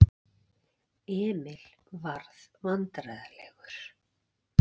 Emil varð vandræðalegur.